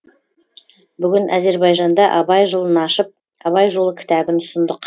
бүгін әзербайжанда абай жылын ашып абай жолы кітабын ұсындық